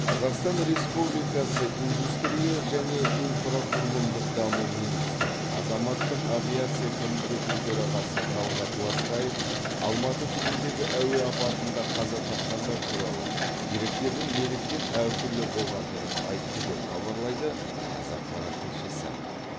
қазақстан республикасы индустрия және инфрақұрылымдық даму министрі азаматтық авиация комитетінің төрағасы талғат ластаев алматы түбіндегі әуе апатында қаза тапқандар туралы деректердің неліктен әртүрлі болғандығын айтты деп хабарлайды қазақпарат тілшісі